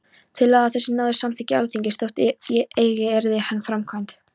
Tillaga þessi náði samþykki Alþingis, þótt eigi yrði hún framkvæmd.